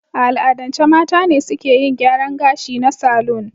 A al'adance mata ne suke yin gyaran ga shi na salon.